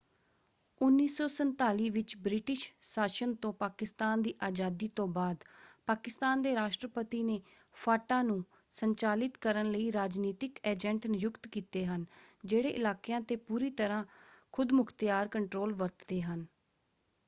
1947 ਵਿੱਚ ਬ੍ਰਿਟਿਸ਼ ਸ਼ਾਸਨ ਤੋਂ ਪਾਕਿਸਤਾਨ ਦੀ ਆਜ਼ਾਦੀ ਤੋਂ ਬਾਅਦ ਪਾਕਿਸਤਾਨ ਦੇ ਰਾਸ਼ਟਰਪਤੀ ਨੇ ਫਾਟਾ ਨੂੰ ਸੰਚਾਲਿਤ ਕਰਨ ਲਈ ਰਾਜਨੀਤਿਕ ਏਜੰਟ ਨਿਯੁਕਤ ਕੀਤੇ ਹਨ ਜਿਹੜੇ ਇਲਾਕਿਆਂ 'ਤੇ ਪੂਰੀ ਤਰ੍ਹਾਂ ਖ਼ੁਦਮੁਖ਼ਤਿਆਰ ਕੰਟਰੋਲ ਵਰਤਦੇ ਹਨ।